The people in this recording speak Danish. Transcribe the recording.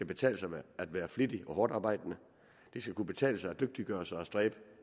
betale sig at være flittig og hårdtarbejdende det skal kunne betale sig at dygtiggøre sig og stræbe